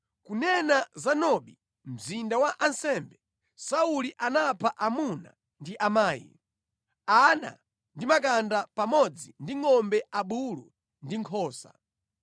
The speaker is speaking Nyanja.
Kunena za Nobi, mzinda wa ansembe, Sauli anapha amuna ndi amayi, ana ndi makanda pamodzi ndi ngʼombe, abulu ndi nkhosa.